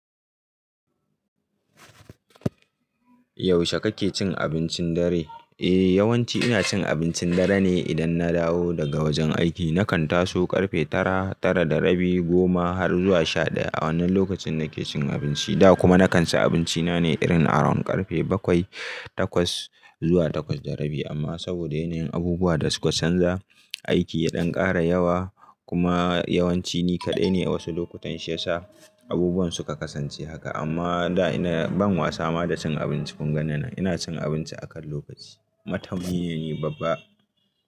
Yaushe kake cin abincin dare? Eh, yawanci ina cin abincin dare ne idan na dawo daga wajen aiki. Nakan taso ƙarfe tara, tara da rabi, goma har zuwa shaɗaya wannan lokacin nake cin abinci. Da kuma nakan ci abinci na ne irin around ƙarfe bakwai, takwas zuwa takwas da rabi. Amma saboda yanayin abubuwa da suka canza, aiki ya ɗan ƙara yawa kuma yawanci ni kaɗai ne wasu lokutan shi ya sa abubuwan suka kasance haka. Amma da ina ban wasa ma da cin abinci. Kun ga ni nan ina cin abinci akan lokaci. Matami ne ni babba.